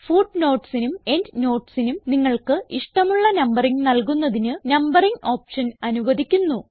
footnotesനും endnotesനും നിങ്ങൾക്ക് ഇഷ്ടമുള്ള നമ്പറിംഗ് നൽകുന്നതിന് നംബറിംഗ് ഓപ്ഷൻ അനുവധിക്കുന്നു